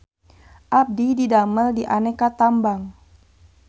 Abdi didamel di Aneka Tambang